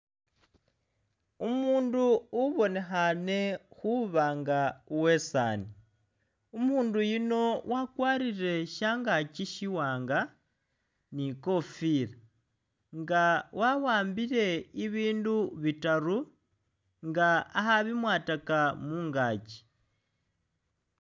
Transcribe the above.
Umuundu ubonekhane khuba nga uwesaani, umundu yuno wakwarire shangaaki shiwaanga ni i'kofila nga wa'ambile ibindu bitaru nga akhabimwataka mungaaki.